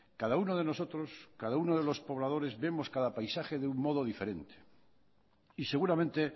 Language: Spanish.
cada uno de nosotros cada uno de los pobladores vemos cada paisaje de un modo diferente y seguramente